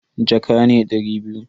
Jaka ne dari biyu.